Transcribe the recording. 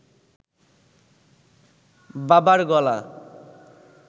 বাবার গলা